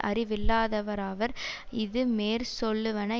அறிவில்லாதவராவர் இது மேற் சொல்லுவன